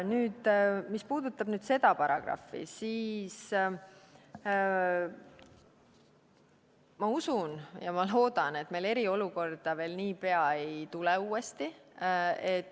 Mis puudutab nüüd seda paragrahvi, siis ma usun ja loodan, et meil eriolukorda niipea uuesti ei tule.